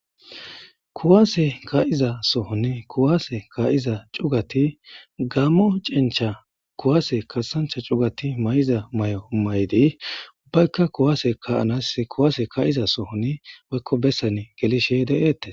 Kuwaase ka'iza sohonni kuwaase kayiza cugati gammo cencha kuwaase kasancha cugati may'iza may'o maydi ubbaykka kuwase kaanas kuwaase ka'iza sohon woykko bessan gelishe deeettes.